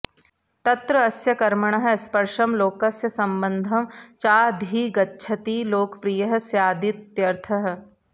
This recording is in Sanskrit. तत्र अस्य कर्मणः स्पर्शं लोकस्य सम्बन्धं चाधिगच्छति लोकप्रियः स्यादित्यर्थः